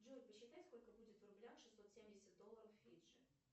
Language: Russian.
джой посчитай сколько будет в рублях шестьсот семьдесят долларов фиджи